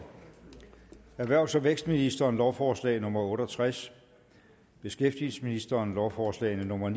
erhvervs og vækstministeren lovforslag nummer l otte og tres beskæftigelsesministeren lovforslag nummer